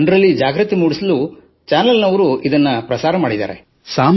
ಜನರಲ್ಲಿ ಜಾಗೃತಿ ಮೂಡಿಸಲು ಚಾನಲ್ ನವರು ಇದನ್ನು ಬಿತ್ತರಿಸಿದ್ದಾರೆ